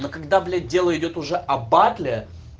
но когда блять дело идёт уже о батле